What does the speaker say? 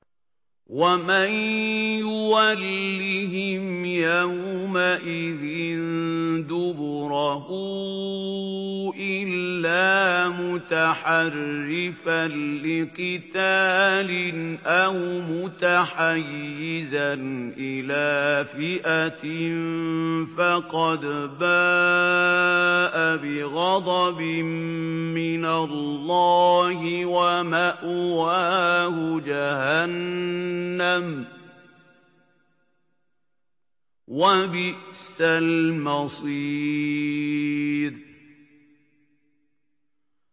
وَمَن يُوَلِّهِمْ يَوْمَئِذٍ دُبُرَهُ إِلَّا مُتَحَرِّفًا لِّقِتَالٍ أَوْ مُتَحَيِّزًا إِلَىٰ فِئَةٍ فَقَدْ بَاءَ بِغَضَبٍ مِّنَ اللَّهِ وَمَأْوَاهُ جَهَنَّمُ ۖ وَبِئْسَ الْمَصِيرُ